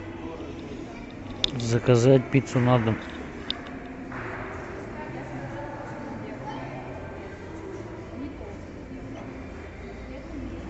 заказать пиццу на дом